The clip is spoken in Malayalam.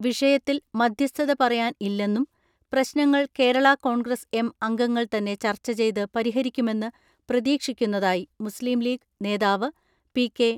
വിഷയത്തിൽ മധ്യസ്ഥത പറയാൻ ഇല്ലെന്നും പ്രശ്നങ്ങൾ കേരള കോൺഗ്രസ് എം അംഗങ്ങൾ തന്നെ ചർച്ച ചെയ്ത് പരിഹരിക്കുമെന്ന് പ്രതീക്ഷിക്കുന്നതായി മുസ്ലീം ലീഗ് നേതാവ് പി.കെ.